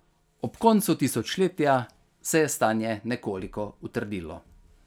Ob koncu tisočletja se je stanje nekoliko utrdilo.